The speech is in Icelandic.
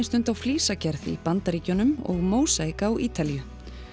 stund á í Bandaríkjunum og mósaík á Ítalíu